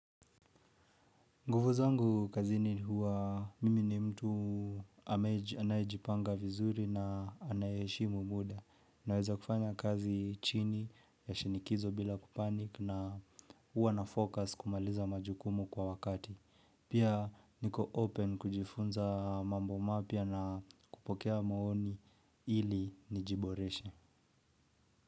Nguvu zangu kazini huwa mimi ni mtu anayejipanga vizuri na anaye heshimu muda. Naweza kufanya kazi chini ya shinikizo bila ku panic na huwa na focus kumaliza majukumu kwa wakati. Pia niko open kujifunza mambo mapya na kupokea maoni ili nijiboreshe.